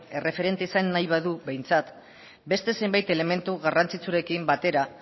erreferente izan nahi badu behintzat beste zenbait elementu garrantzitsurekin batera